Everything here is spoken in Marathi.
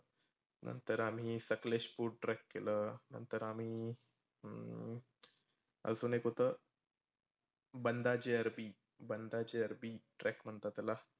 नंतर आम्ही संकलेशपुल trek केलं, नंतर आम्ही अजून एक होतं बंदाजेअरबी बंदाचे अरबी trek म्हणतात त्याला.